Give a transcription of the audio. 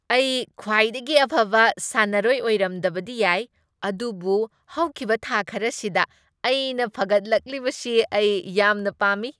ꯑꯩ ꯈ꯭ꯋꯥꯏꯗꯒꯤ ꯑꯐꯕ ꯁꯥꯟꯅꯔꯣꯏ ꯑꯣꯏꯔꯝꯗꯕꯗꯤ ꯌꯥꯏ ꯑꯗꯨꯕꯨ ꯍꯧꯈꯤꯕ ꯊꯥ ꯈꯔꯁꯤꯗ ꯑꯩꯅ ꯐꯒꯠꯂꯛꯂꯤꯕꯁꯤ ꯑꯩ ꯌꯥꯝꯅ ꯄꯥꯝꯃꯤ ꯫